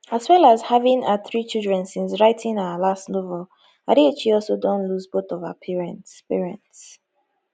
as well as having her three children since writing her last novel adichie also don lose both of her parents parents